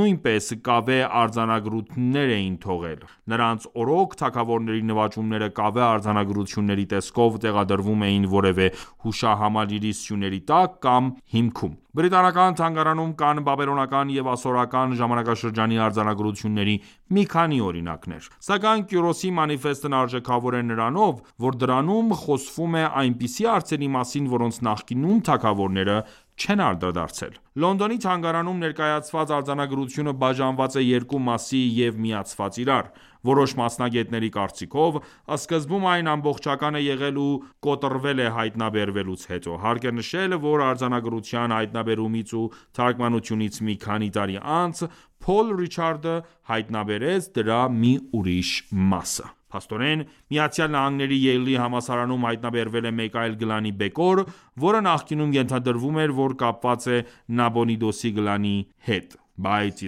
նույնեպս կավե արձանագրություններ էին թողել։ Նրանց օրոք թագավորների նվաճումները կավե արձանագրությունների տեսքով տեղադրվում էին որևէ հուշահամալիրի սյուների տակ կամ հիմքում։ Բրիտանական թանգարանում կան բաբելոնական և ասորական ժամանակաշրջանի արձանագրությունների մի քանի օրինակներ: Սակայն Կյուրոսի մանիֆեստն արժեքավոր է նրանով, որ դրանում խոսվում է այնպիսի հարցերի մասին, որոնց նախկինում թագավորները չեն անդրադարձել։ Լոնդոնի թանգարանում ներկայացված արձանագրությունը բաժանված է երկու մասի և միացված իրար։ Որոշ մասնագետների կարծիքով, սկզբում այն ամբողջական է եղել ու կոտրվել է հայտնաբերվելուց հետո։ Հարկ է նշել, որ արձանագրության հայտնաբերումից ու թարգմանությունից մի քանի տարի անց, Փոլ Ռիչարդը հայտնաբերեց դրա մի ուրիշ մասը: Փաստորեն, ԱՄՆ-ի Յեյլի համալսարանում հայտնաբերվել է մեկ այլ գլանի բեկոր, որը նախկինում ենթադրվում էր, որ կապված է Նաբոնիդուսի գլանի մհետ: Բայց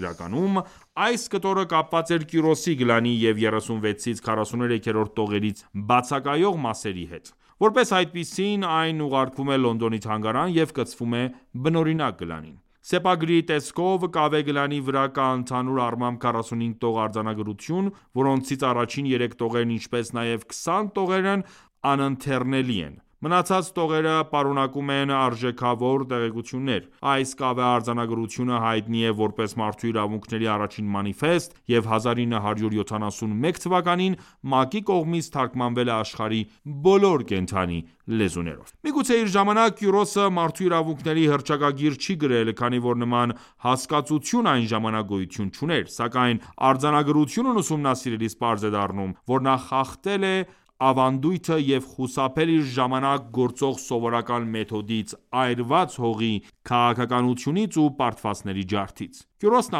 իրականում այս կտորը կապված էր Կյուրոսի գլանի և 36-ից 43-րդ տողերից բացակայող մասերի հետ։ Որպես այդպիսին, այն ուղարկվում է Լոնդոնի թանգարան և կցվում է բնօրինակ գլանին: Սեպագրի տեսքով կավե գլանի վրա կա ընդհանուր առմամբ 45 տող արձանագրություն, որոնցից առաջին 3 տողերն ինչպես նաև 20 տողերն անընթեռնելի են։ Մնացած տողերը պարունակում են արեժքավոր տեղեկություններ։ Այս կավե արձանագորւթյունը հայտնի է որպես մարդու իրավունքների առաջին մանիֆեստ և 1971թ ՄԱԿ-ի կողմից թարգմանվել է աշխարհի բոլոր կենդանի լեզուներով։ Միգուցե իր ժամանակ Կյուրոսը մարդու իրավունքների հռչակագիր չի գրել, քանի որ նման հասկացություն այն ժամանակ գոյություն չուներ։ Սակայն արձանագրությունն ուսումնասիրելիս պարզ է դառնում, որ նա խախտել է ավանդույթը և խուսափել իր ժամանակ գործող սովորական մեթոդից՝ այրված հողի քաղաքականությունից ու պարտվածների ջարդից։ Կյուրոսն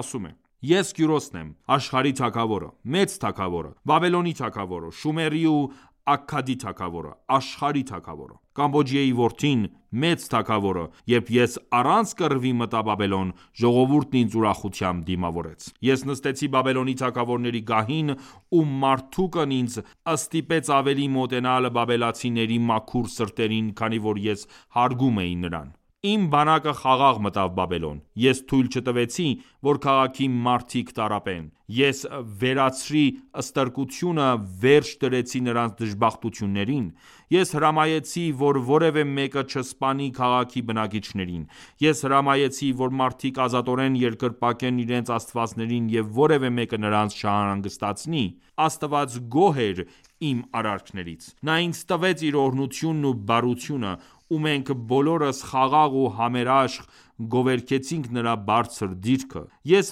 ասում է․ «Ես Կյուրոսն եմ, աշխարհի թագավորը, մեծ թագավորը, Բաբելոնի թագավորը, Շումերի ու Աքքադի թագավորը, Աշխարհի թագավորը։ Կամբոջիեյի որդին, մեծ թագավորը․․․․Երբ ես առանց կռվի մտա Բաբելոն, ժողովուրդն ինձ ուրախությամբ դիմավորեց։ Ես նստեցի Բաբելոնի թագավորների գահին ու Մարդուկն ինձ ստիպեց ավելի մոտենալ բաբելացիների մաքուր սրտերին, քանի որ ես հարգում էի նրան։ Իմ բանակը խաղաղ մտավ Բաբելոն։ Ես թույլ չտվեցի, որ քաղաքի մարդիկ տառապեն։ Ես վերացրի ստրկությունը, վերջ դրեցի նրանց դժբախտություններին։ Ես հրամայեցի, որ որևէ մեկը չսպանի քաղաքի բնակիչներին։ Ես հրամայեցի, որ մարդիկ ազատորեն երկրպագեն իրենց աստվածներին և որևէ մեկը նրանց չանհանգստացնի։ Աստված գոհ էր իմ արարքներից։ Նա ինձ տվեց իր օրհնությունն ու բարությունը։ Ու մենք բոլորս խաղաղ ու համերաշք գովերգեցինք Նրա բարձր դիրքը․․․ Ես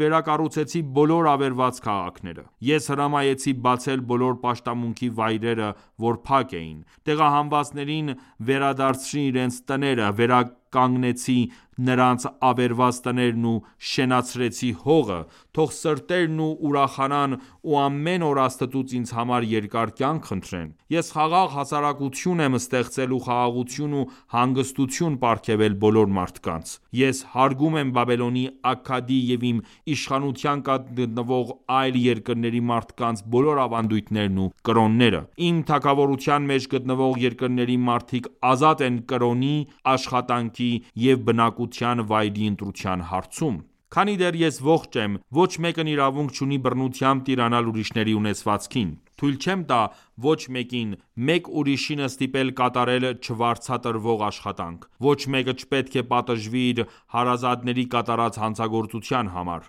վերակառուցեցի բոլոր ավերված քաղաքները։ Ես հրամայեցի բացել բոլոր պաշտամունքի վայրերը, որ փակ էին։ Տեղահանվածներին վերադարձրի իրենց տները, վերականգնեցի նրանց ավերված տներն ու շենացրեցի հողը։ Թող սրտերն ուրախանան ու ամեն օր Աստծուց ինձ համար երկար կյանք խնդրեն։ Ես խաղաղ հասարակություն եմ ստեղծել ու խաղաղութուն ու հանգստություն պարգևել բոլոր մարդկանց։ Ես հարգում եմ Բաբելոնի, Աքքադի և իմ իշխանության տակ գտնվող այլ երկրների մարդկանց բոլոր ավանդույթներն ու կրոնները: Իմ թագավորության մեջ գտնվող երկրների մարդիկ ազատ են կրոնի, աշխատանքի և բնակության վայրի ընտրության հարցում: Քանի դեռ ես ողջ եմ, ոչ մեկն իրավունք չունի բռնությամբ տիրանալ ուրիշների ունեցվածքին։ Թույլ չեմ տա ոչ մեկին՝ մեկ ուրիշին ստիպել կատարել չվարձատրվող աշխատանք։ Ոչ մեկը չպետք է պատժվի իր հարազատների կատարած հանցագործության համար։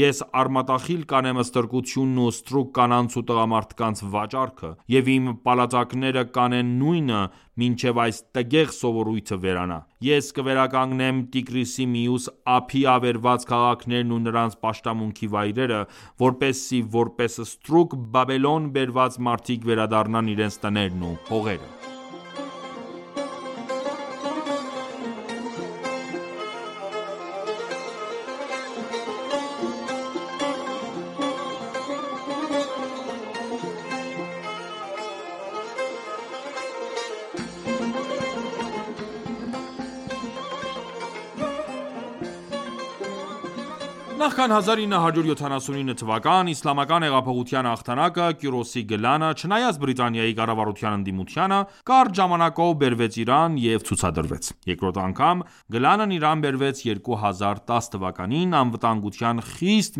Ես արմատախիլ կանեմ ստրկությունն ու ստրուկ կանանց ու տղամարդկանց վաճառքը։ Եվ իմ պալատականները կանեն նույնը, մինչև այս տգեղ սովորույթը վերանա։ Ես կվերականգնեմ Տիգրիսի մյուս ափի ավերված քաղաքներն ու նրանց պաշտամունքի վայրերը, որպեսզի որպես ստրուկ Բաբելոն բերված մարդիկ վերադառնան իրենց տներն ու հողերը»։ Նախքան 1979թ․ իսլամական հեղափոխության հաղթանակը, Կյուրոսի գլանը, չնայած Բրիտանիայի կառավարության ընդդիմությանը, կարճ ժամանակաով բերվեց Իրան և ցուցադրվեց։ Երկրորդ անգամ գլանն Իրան բերվեց 2010թ՝ անվտանգության խիստ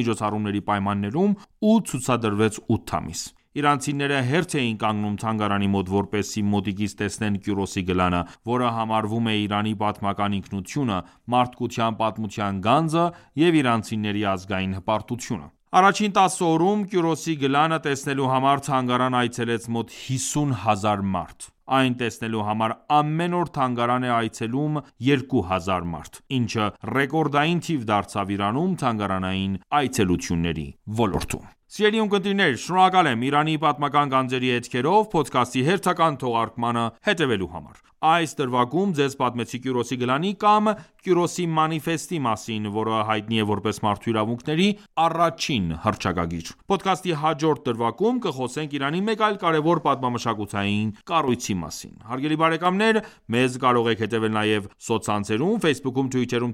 միջոցառումների պայմաններում և ցուցադրվեց 8 ամիս։ Իրանցիները հերթ էին կանգնում թանգարանի մոտ, որպեսզի մոտիկից տեսնեն Կյուրոսի գլանը, որը համարվում է Իրանի պատմական ինքնությունը, մարդկության պատմության գանձը և իրանցիների ազգային հպարտությունը։ Առաջին տասը օրում Կյուրոսի գլանը տեսնելու համար թանգարան այցելեց մոտ 50 հազար մարդ։ Այն տեսնելու համար, ամեն օր թանգարան էր այցելում 2 հազար մարդ, ինչը ռեկորդային թիվ դարձավ Իրանում թանգարանային այցելությունների ոլորտում։ Սիրելի ունկնդիրներ, շնորհակալ եմ «Իրանի պատմական գանձերի հետքերով» փոդքասթի հերթական թողարկմանը հետևելու համար։ Այս դրվագում ձեզ պատմեցի Կյուրոսի գլանի կամ Կյուրոսի մանիֆեստի մասին, որը հայտնի է որպես մարդու իրավունքների առաջին հռչակագիր։ Փոդքասթի հաջորդ դրվագում կխոսենք Իրանի մեկ այլ կարևոր պատմամշակութային կառույցի մասին։ Հարգելի բարեկամ մեզ կարող եք հետևել նաև սոցցանցերում Ֆեյսբուքում, թվիթերում,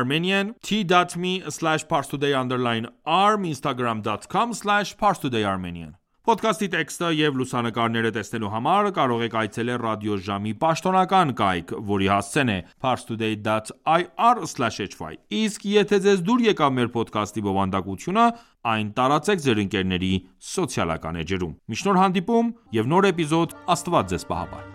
թելեգրամում և ինստագրամում, հետևյալ հղումներով՝ Փոդքասթի տեքստը և լուսանկարները տեսնելու համար կարող եք այցելել ռադիոժամի պաշտոնական կայք, որի հասցեն է՝ parstoday.ir/hy: Իսկ եթե ձեզ դուր եկավ մեր փոդքասթի բովանդակությունը, այն տարածեք ձեր ընկերների սոցիալական էջերում։ Մինչ նոր հանդիպում և նոր էպիզոդ՝ Աստված Ձեզ պահապան։